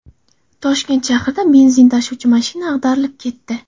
Toshkent shahrida benzin tashuvchi mashina ag‘darilib ketdi.